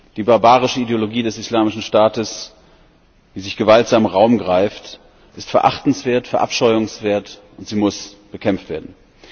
Die barbarische Ideologie des Islamischen Staates, die sich gewaltsam Raum greift, ist verachtenswert, verabscheuungswert, und sie muss bekämpft werden.